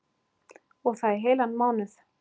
Og það í heilan mánuð.